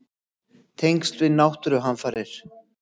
Tengsl við náttúruhamfarir?